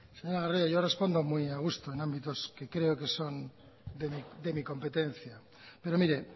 señora garrido yo respondo muy a gusto en ámbitos que creo que son de mi competencia pero mire